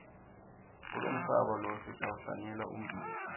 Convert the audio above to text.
kulomhlaba lo sitawuhlanyela ummbila